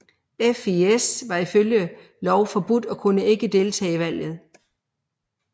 FIS var ifølge lov forbudt og kunne ikke deltage i valget